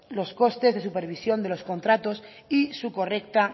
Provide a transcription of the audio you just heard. los costes de supervisión de los contratos y su correcta